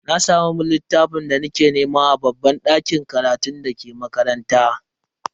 Na samu littafin da nake nema a babban dakin karatun dake makaranta.